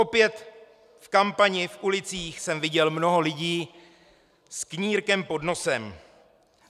Opět v kampani v ulicích jsem viděl mnoho lidí s knírkem pod nosem.